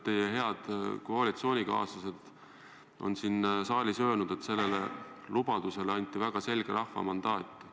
Teie head koalitsioonikaaslased on siin saalis öelnud, et sellele lubadusele anti väga selge rahva mandaat.